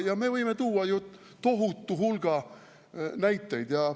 Me võime tuua ju tohutu hulga näiteid.